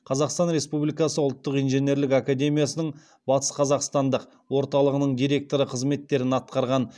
қазақстан республикасы ұлттық инженерлік академиясының батысқазақстандық орталығының директоры қызметтерін атқарған